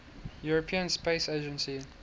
european space agency